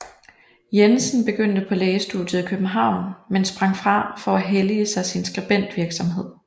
Jensen begyndte på lægestudiet i København men sprang fra for at hellige sig sin skribentvirksomhed